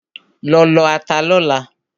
Lọ lọ ata lọ́la!